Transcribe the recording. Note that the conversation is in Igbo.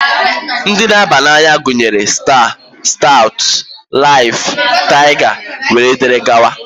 Ndị na-aba n'anya gunyere: Staa, Staụtụ, Laịf, Taịga wee dịrị gawa.